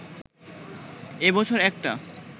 এ বছর একটা